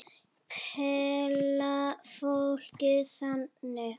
Perla Fólkið þagði.